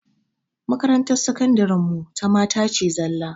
Makarantar sakandiren mu ta mata ce zallah